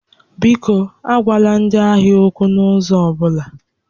Biko, agwala ndị ahịa okwu n'ụzọ ọ bụla!